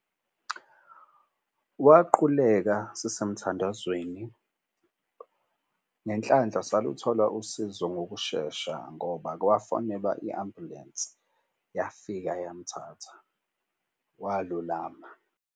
Waquleka sisemthandazweni ngenhlanhla saluthola usizo ngokushesha ngoba kwafonelwa i-ambulensi, yafika yamthatha walulama.